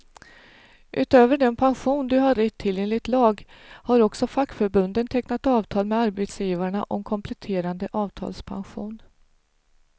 Utöver den pension du har rätt till enligt lag, har också fackförbunden tecknat avtal med arbetsgivarna om kompletterande avtalspension.